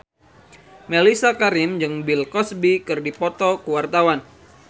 Mellisa Karim jeung Bill Cosby keur dipoto ku wartawan